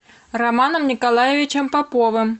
романом николаевичем поповым